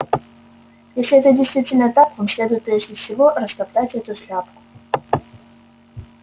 если это действительно так вам следует прежде всего растоптать эту шляпку